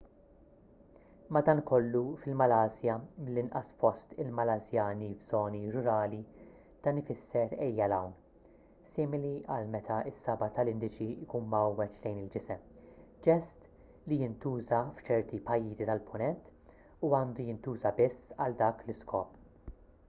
madankollu fil-malasja mill-inqas fost il-malasjani f’żoni rurali dan ifisser ejja ’l hawn, simili għal meta s-saba’ tal-indiċi jkun mgħawweġ lejn il-ġisem ġest li jintuża f’ċerti pajjiżi tal-punent u għandu jintuża biss għal dak l-iskop